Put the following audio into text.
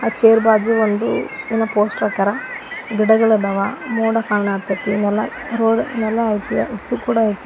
Chair ಬಾಜು ಒಂದು ಏನೋ ಪೋಸ್ಟರ್ ಹಾಕ್ಯಾರ ಗಿಡಗಳ ಅದಾವ ಮೋಡ ಕಾಣಾತತಿ ನೆಲಗೊಳ ನೆಲ ಅತಿ ಅಸು ಕೂಡ ಅತಿ.